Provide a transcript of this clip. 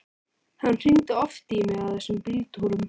Hann hringdi oft í mig á þessum bíltúrum.